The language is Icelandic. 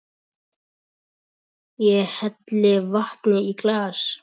Ég helli vatni í glas.